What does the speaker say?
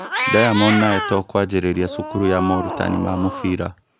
Diamond na Etoo kwanjĩrĩria cukuru ya morutani ma mũbira